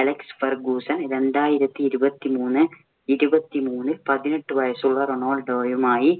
Alex Ferguson രണ്ടായിരത്തി ഇരുപത്തിമൂന്നേ ഇരുപത്തിമൂന്നില്‍ പതിനെട്ട് വയസുള്ള റൊണാൾഡോയുമായി